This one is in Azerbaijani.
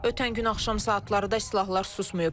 Ötən gün axşam saatlarında silahlar susmayıb.